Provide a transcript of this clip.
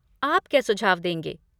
आप क्या सुझाव देंगे?